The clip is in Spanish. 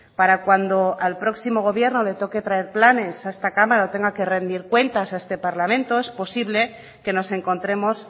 para cuando al próximo gobierno le toque traer planes a esta cámara o tenga que rendir cuentas a este parlamento es posible que nos encontremos